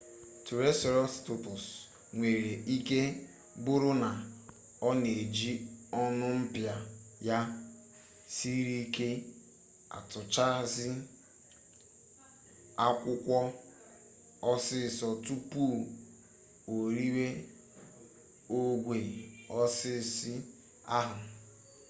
tụraịserotọpsụ nwere ike bụrụ na ọ na-eji ọnụ mpịa ya siri ike atụchasị akwụkwọ osisi tupu o riwe ogwe osisi ahụ